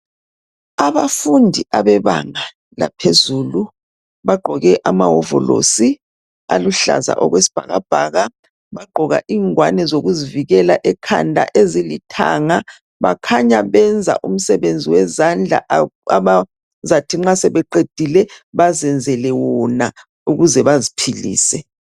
Abafundi abebanga laphezulu bagqoke amawovolosi aluhlaza okwesibhakabhaka bagqoka ingwane zokuzivikela ekhanda ezilithanga bakhanya benza umsebenzi wezandla abazathi nxa sebeqedile bazenzele wona ukuze baziphilise.